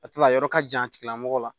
A tila a yɔrɔ ka jan a tigilamɔgɔ la